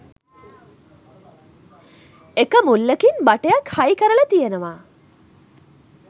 එක මුල්ලකින් බටයක් හයි කරලා තියෙනවා